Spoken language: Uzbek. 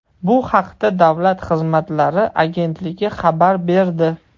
Bu haqda Davlat xizmatlari agentligi xabar berdi .